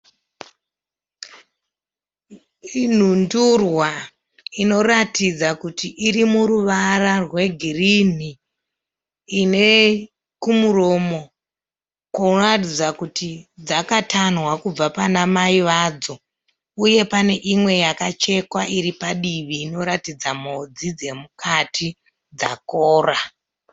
Nhundurwa inoratidza kuti irimuruvara rwegirini. Ine kumuromo kunoratidza kuti dzakatanhwa kubva pana mai vadzo uye pane imwe yakachekwa iri padivi inoratidza mhodzi dzemukati dzakora.